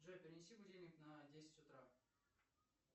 джой перенеси будильник на десять утра